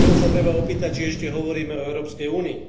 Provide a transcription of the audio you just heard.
Potom sa treba opýtať, či ešte hovoríme o Európskej únii.